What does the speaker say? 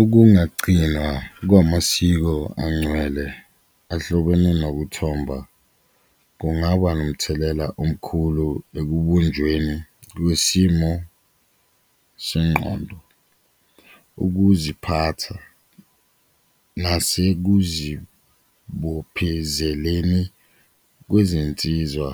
Okungagcinwa kwamasiko angcwele ahlobene nokuthomba kungaba nomthelela omkhulu ekubunjweni kwesimo senqondo, ukuziphatha nasekuzibophezeleni kwezinsizwa